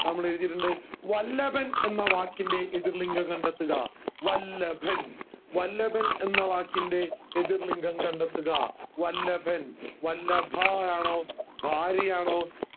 നമ്മൾ എഴുതിട്ടുണ്ട് വല്ലഭൻ എന്ന വാക്കിൻറെ എതിർ ലിംഗം കണ്ടെത്തുക വല്ലഭൻ വല്ലഭൻ എന്ന വാക്കിൻറെ എതിർ ലിംഗം കണ്ടെത്തുക വല്ലഭൻ വല്ലഭ ആണോ ഭാര്യ ആണോ